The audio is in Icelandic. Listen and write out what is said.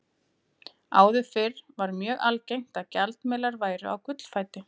Áður fyrr var mjög algengt að gjaldmiðlar væru á gullfæti.